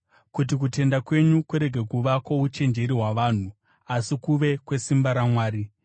kuti kutenda kwenyu kurege kuva kwouchenjeri hwavanhu, asi kuve kwesimba raMwari.